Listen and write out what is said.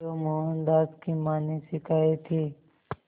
जो मोहनदास की मां ने सिखाए थे